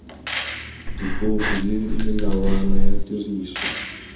dipopi le melawana ya tiriso